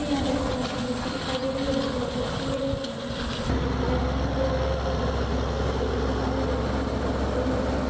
यहाँ पर भगवान कि मूर्ति दिखाई दे रही है बहुत अच्छी है सफेद कलर की है और मूर्ति मे अच्छा कलर भी पोता हुआ है बहुत अच्छा भी लग रह है।